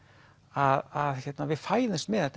að við fæðumst með þetta